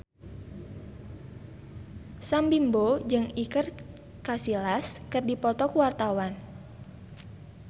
Sam Bimbo jeung Iker Casillas keur dipoto ku wartawan